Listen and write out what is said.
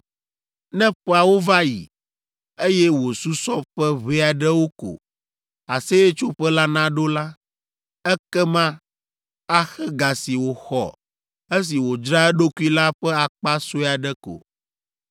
Ne ƒeawo va yi, eye wòsusɔ ƒe ʋɛ aɖewo ko Aseyetsoƒe la naɖo la, ekema axe ga si wòxɔ esi wòdzra eɖokui la ƒe akpa sue aɖe ko.